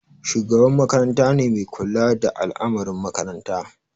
Shugaban makaranta ne mai kula da al'amarin makaranta.